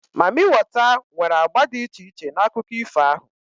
Mamịwater nwere agba dị iche iche na akụkọ ifo ahụ